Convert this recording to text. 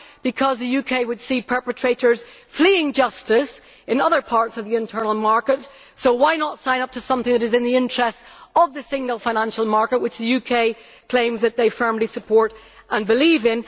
Because the UK would see perpetrators fleeing justice in other parts of the internal market, so why not sign up to something which is in the interests of the single financial market which the UK claims it firmly supports and believes in.